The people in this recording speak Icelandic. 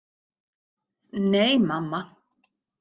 Nei, mamma.